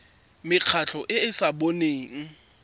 mekgatlho e e sa boneng